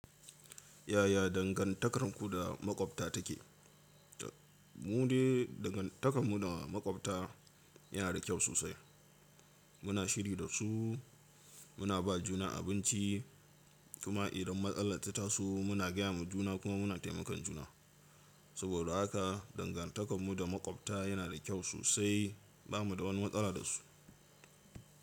Yaya dangantakarku da maƙwabta take? Mu dai dangantakar mu da maƙwabta yana da kyau sosai. Muna shiri da su, muna ba juna abinci, kuma idan matsala ta tasu muna gaya ma juna kuma muna taimakon juna. Saboda haka dangantakar mu da makwabta yana da kyau sosai. Ba mu da wani matsala da su.